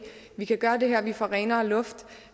vi kan gøre det her vi får renere luft